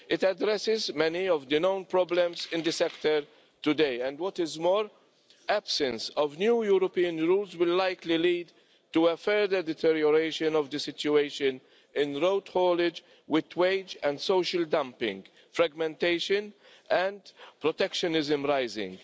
It addresses many of the known problems in the sector today and, what is more, absence of new European rules will likely lead to a further deterioration of the situation in road haulage with wage and social dumping, fragmentation and protectionism all rising.